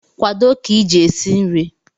kwado ka iji esi nri!